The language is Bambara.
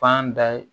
Fan da ye